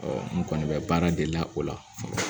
n kɔni bɛ baara de la o la